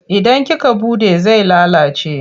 Idan kika buɗe zai lalace.